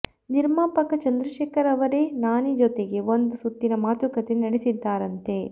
ನಿರ್ಮಾಪಕ ಚಂದ್ರಶೇಖರ್ ಅವರೇ ನಾನಿ ಜತೆಗೆ ಒಂದು ಸುತ್ತಿನ ಮಾತುಕತೆ ನಡೆಸಿದ್ದಾರಂತೆ